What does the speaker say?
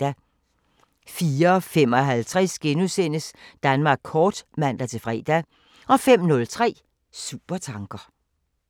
04:55: Danmark kort *(man-fre) 05:03: Supertanker